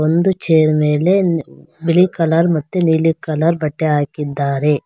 ಒಂದು ಚೇರ್ ಮೇಲೆ ಬಿಳಿ ಕಲರ್ ನೀಲಿ ಕಲರ್ ಬಟ್ಟೆ ಹಾಕಿದ್ದಾರೆ.